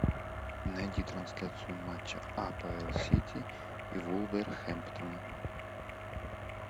найди трансляцию матча апл сити и вулверхэмптона